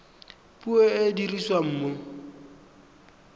puo e e dirisiwang mo